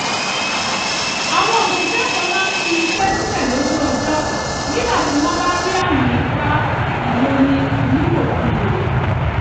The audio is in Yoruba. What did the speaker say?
ó jẹ́ àǹfààní láti jíròrò ẹrù iṣẹ́ àti àwọn ìrètí ní gbangba láti yàgò fún ewu ìloni nílòkulò